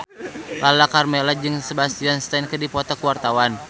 Lala Karmela jeung Sebastian Stan keur dipoto ku wartawan